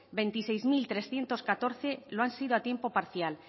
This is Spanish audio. veintiséis mil trescientos catorce lo han sido a tiempo parcial